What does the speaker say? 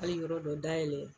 Hali yɔrɔ dɔ da yɛlɛ.